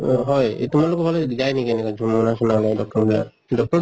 আহ হয় এই তোমালোকৰ ফালে যায় নেকি এনেকা যু মোনা চোনা লৈ doctor বিলাক, doctor